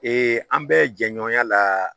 an bɛ jɛɲɔgɔnya la